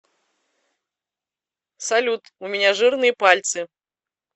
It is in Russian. салют у меня жирные пальцы